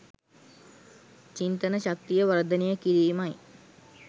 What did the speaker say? චින්තන ශක්තිය වර්ධනය කිරීමයි